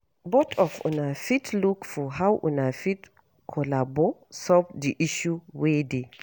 Both of una fit look for how una fit collabo solve di issue wey dey